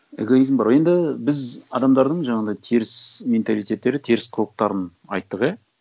эгоизм бар енді біз адамдардың жаңағындай теріс менталитеттері теріс қылықтарын айттық иә